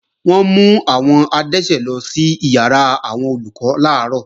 Wọ́n mú àwọn adẹ́ṣẹ̀ lọ sí ìyàrá àwọn Olùkọ́ làárọ̀